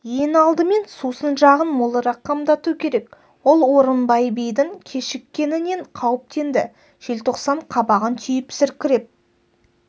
ең алдымен сусын жағын молырақ қамдату керек ол орынбай бидің кешіккенінен қауіптенді желтоқсан қабағын түйіп сіркіреп